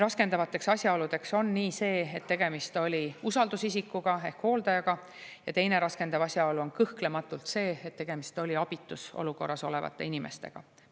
Raskendavaks asjaoluks on see, et tegemist oli usaldusisikuga ehk hooldajaga, ja teine raskendav asjaolu on kõhklematult see, et tegemist oli abitus olukorras olevate inimestega.